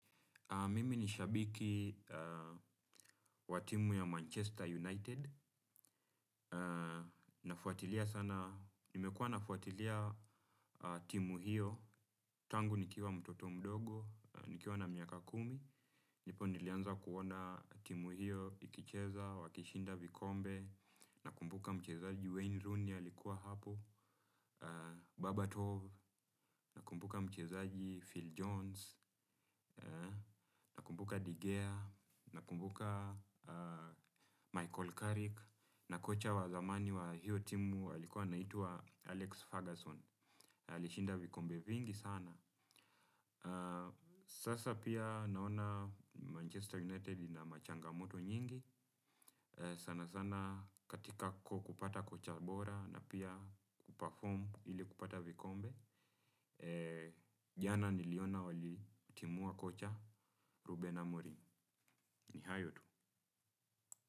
Mimi ni shabiki wa timu ya Manchester United. Nafuatilia sana, nimekuwa nafuatilia timu hiyo. Tangu nikiwa mtoto mdogo, nikiwa na miaka kumi. Ndipo nilianza kuona timu hiyo, ikicheza, wakishinda vikombe. Nakumbuka mchezaji Wayne Rooney, alikuwa hapo. Babatov, nakumbuka mchezaji Phil Jones. Kumbuka Degea nakumbuka Michael Carrick Na kocha wa zamani wa hiyo timu alikuwa anaitwa Alex Ferguson. Alishinda vikombe vingi sana. Sasa pia naona Manchester United ina machangamoto nyingi. Sana sana katika kupata kocha bora na pia kupafomu ili kupata vikombe. Jana niliona walitimua kocha Ruben Amorim ni hayo tu.